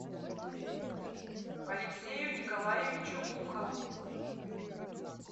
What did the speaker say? алексею николаевичу ухову